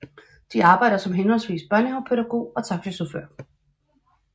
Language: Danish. De arbejder som henholdsvis børnehavepædagog og taxachauffør